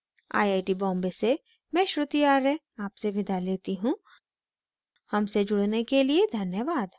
I I T Bombay से मैं श्रुति आर्य आपसे विदा लेती हूँ हमसे जुड़ने के लिए धन्यवाद